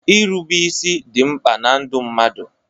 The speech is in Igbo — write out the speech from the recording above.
Irube isi dị mkpa na ndụ mmadụ.